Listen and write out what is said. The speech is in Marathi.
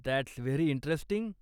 That's very interesting.